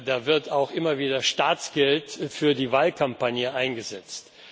Da wird auch immer wieder Staatsgeld für die Wahlkampagne eingesetzt.